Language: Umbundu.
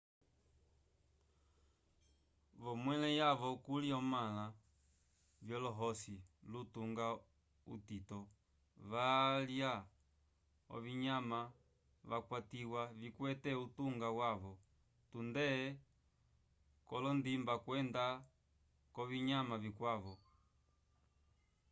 v'omwelo yavo kuli omãla vyolohosi lutunga utito valya ovinyama vyakwatiwa vikwete utunga wavo tunde k'olondimba kwenda k'ovinyama vikwavo